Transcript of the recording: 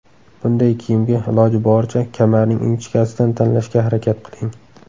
Bunday kiyimga, iloji boricha, kamarning ingichkasidan tanlashga harakat qiling.